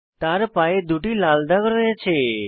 তার পায়ে দুটি লাল দাগ রয়েছে